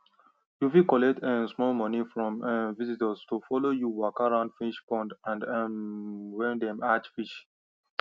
you fit collect um small money from um visitors to follow you waka round fish pond and um where dem hatch fish